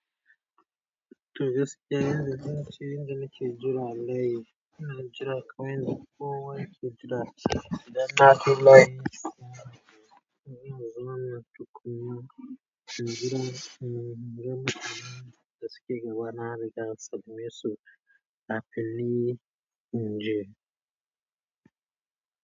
Toh gaskiya yanda na ke wance inda na ke jira layi, ina jira kawai kamr yanda kowa ya ke jira ce. Da na filaye, ina zama na tukunya. Ina jira, ina gama, dasu ke gabana da sabida ya su a fili, in ji.